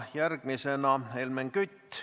Järgmisena Helmen Kütt.